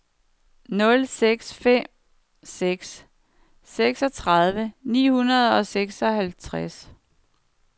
nul seks fem seks seksogtredive ni hundrede og seksoghalvtreds